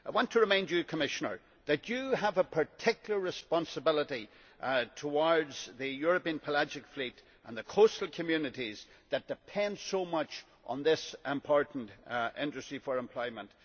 I want to remind you, Commissioner, that you have a particular responsibility towards the European pelagic fleet and the coastal communities that depend so much on this important industry for employment.